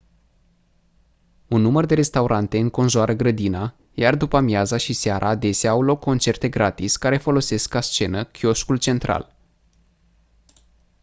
un număr de restaurante înconjoară grădina iar după-amiaza și seara adesea au loc concerte gratis care folosesc ca scenă chioșcul central